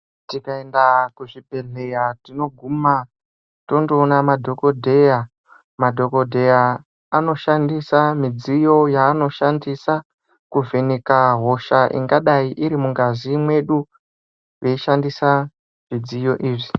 Tikaenda kuzvibhedhlera tinoguma tondoona madhokodheya. Madhokodheya anoshandisa midziyo yavanoshandisa kuvheneka hosha ingadayi iri mungazi mwedu veishandisa zvidziyo izvi.